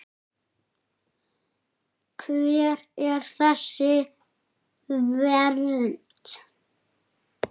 Hver er þessi vernd?